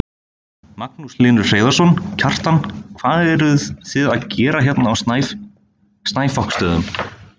Magnús Hlynur Hreiðarsson: Kjartan hvað eruð þið að gera hérna á Snæfoksstöðum?